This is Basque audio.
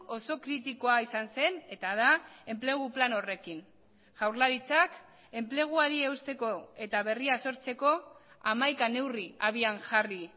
oso kritikoa izan zen eta da enplegu plan horrekin jaurlaritzak enpleguari eusteko eta berria sortzeko hamaika neurri habian jarri